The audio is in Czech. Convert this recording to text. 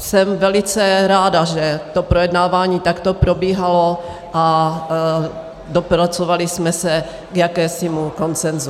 Jsem velice ráda, že to projednávání takto probíhalo a dopracovali jsme se k jakémusi konsenzu.